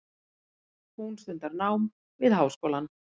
Hún stundar nám við háskólann.